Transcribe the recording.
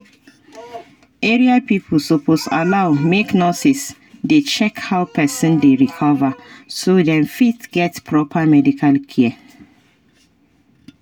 area pipo suppose allow make nurses dey check how person dey recover so dem fit get proper medical care